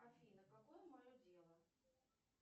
афина какое мое дело